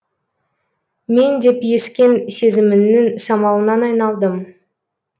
мен деп ескен сезіміңнің самалынан айналдым